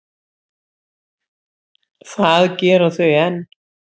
Það gera þau enn.